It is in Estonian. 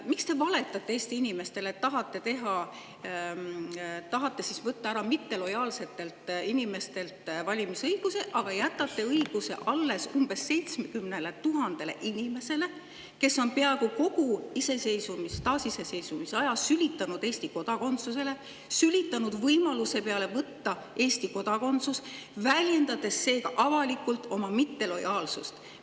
Miks te valetate Eesti inimestele, et tahate võtta ära valimisõiguse mittelojaalsetelt inimestelt, aga jätate selle õiguse alles umbes 70 000 inimesele, kes on peaaegu kogu taasiseseisvuse aja sülitanud Eesti kodakondsusele, sülitanud võimaluse peale võtta Eesti kodakondsus, väljendades seega avalikult oma mittelojaalsust.